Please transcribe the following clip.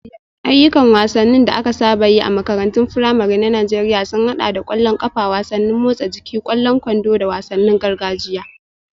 Ayyukan wasanni da aka saba yi a makarantun firamare na Najeriya sun haɗa da ƙwallon ƙafa, wasannin motsa jiki, ƙwallon kwando, da wasannin gargajiya.